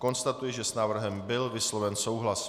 Konstatuji, že s návrhem byl vysloven souhlas.